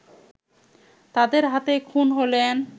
তাদের হাতেই খুন হলেন